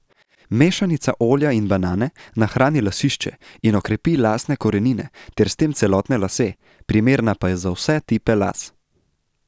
Mešanica olja in banane nahrani lasišče in okrepi lasne korenine ter s tem celotne lase, primerna pa je za vse tipe las.